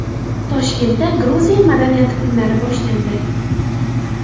Toshkentda Gruziya madaniyati kunlari boshlandi.